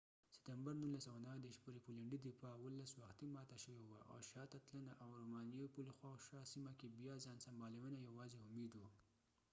17 ستمبر 1939 پورې پولېنډي دفاع وختي ماته شوې وه او شاته تلنه او رومانیايي پل خواوشا سیمه کې بیا ځان سنبالېونه یواځې امېد و